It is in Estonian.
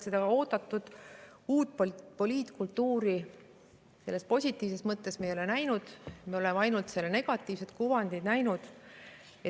Seda oodatud uut poliitkultuuri selles positiivses mõttes me ei ole näinud, me oleme näinud ainult selle negatiivset kuvandit.